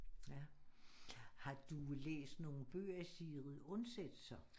Ja har du læst nogen bøger af Sigrid Undset så